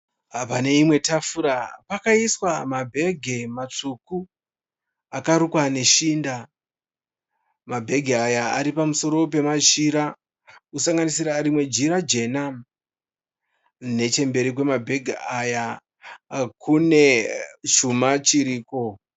Pane imwe tafura pakaiswa mabhegi matsvuku akarukwa neshinda. Mabhegi aya aripamusoro pemachira , kusanganisira irmwe jira jena. Nechemberi kwemabhegi aya kune chuma chiriko